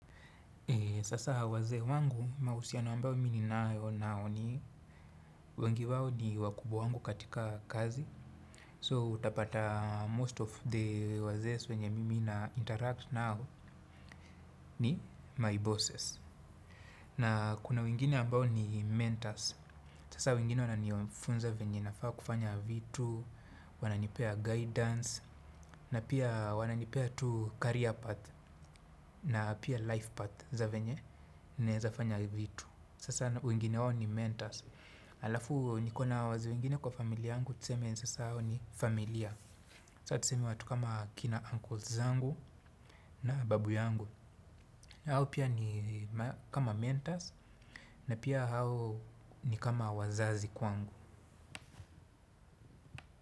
Sasa wazee wangu mahusiano ambayo mimi ninayo nao ni, wengi wao ni wakubwa wangu katika kazi. So utapata most of the wazee wenye mimi na interact nao ni my bosses. Na kuna wengine ambao ni mentors. Sasa wengine wananifunza venye nafaa kufanya vitu, wananipea guidance, na pia wananipea tu career path. Na pia life path za venye ninaweza fanya vitu. Sasa wengine hao ni mentors. Alafu nikona wazee wengine kwa familia yangu tuseme sasa hao ni familia. Sasa tuseme watu kama kina uncles zangu na babu yangu. Hao pia ni kama mentors na pia hao, ni kama wazazi kwangu.